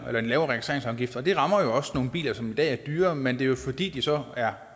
jo en lavere registreringsafgift og det rammer også nogle biler som i dag er dyre men det er jo fordi de så er